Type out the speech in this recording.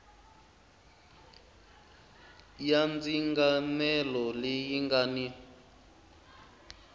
ya ndzinganelo leyi nga ni